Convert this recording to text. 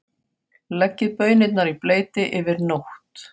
Leggið baunirnar í bleyti yfir nótt.